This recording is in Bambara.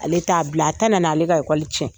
Ale t'a bila. A tɛna na ale ka ekɔli cɛn.